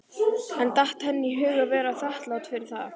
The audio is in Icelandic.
En datt henni í hug að vera þakklát fyrir það?